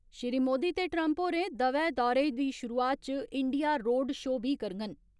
श्री मोदी ते ट्रम्प होरे दवै दौरे दी शुरुआत च इंडिया रोड शो बी करङन।